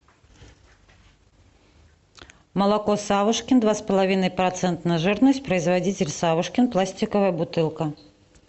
молоко савушкин два с половиной процента жирность производитель савушкин пластиковая бутылка